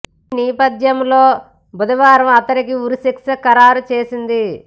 ఈ నేపథ్యంలో బుధవారం అతడికి ఉరి శిక్ష ఖరారు చేసింది